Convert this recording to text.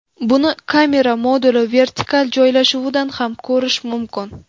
Buni kamera moduli vertikal joylashuvidan ham ko‘rish mumkin.